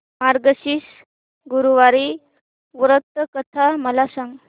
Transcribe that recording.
मार्गशीर्ष गुरुवार व्रत कथा मला सांग